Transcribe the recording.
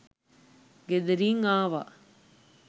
ගෙදරින් ආවා